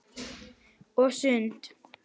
Og sund.